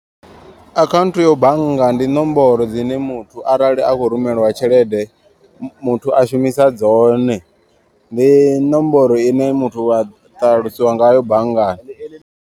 Akhaunthu ya bannga ndi nomboro dzine muthu arali a khou rumeliwa tshelede muthu a shumisa dzone. Ndi ṋomboro ine muthu wa ṱalusiwa ngayo banngani.